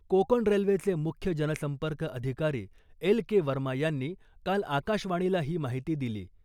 कोकण रेल्वेचे मुख्य जन संपर्क अधिकारी एल के वर्मा यांनी काल आकाशवाणीला ही माहिती दिली .